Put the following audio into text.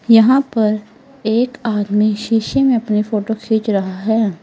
यहां पर एक आदमी शीशे में अपनी फोटो खींच रहा है।